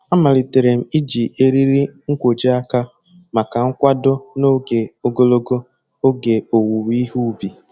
Amalitere m iji eriri nkwojiaka maka nkwado n'oge ogologo oge owuwe ihe ubi.